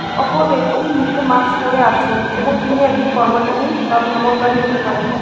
অপরব্যক্তি মুখে মাকস্ পরে আছেন এবং তিনি একজন কর্মচারী বা ভ্রমণকারী হতে পারেন।